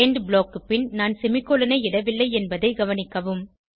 end blockக்கு பின் நான் செமிகோலன் ஐ இடவில்லை என்பதை கவனிக்கவும்